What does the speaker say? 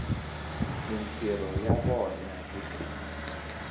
mintirho ya vona hi ku